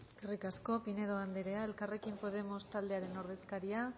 eskerrik asko pinedo andrea elkarrekin podemos taldearen ordezkaria